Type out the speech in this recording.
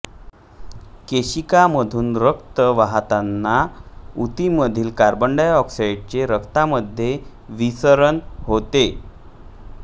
केशिकामधून रक्त वाहताना उतीमधील कार्बन डाय ऑक्साइडचे रक्तामध्ये विसरण होते